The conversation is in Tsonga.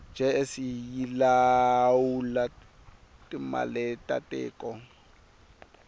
jse yilawula timaletatiko